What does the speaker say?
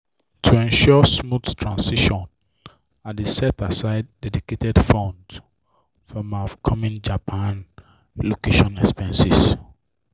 to ensure smooth transition i dey set aside dedicated fund for my upcoming japan relocation expenses.